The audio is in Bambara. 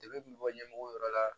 Degun bɛ bɔ ɲɛmɔgɔ yɔrɔ la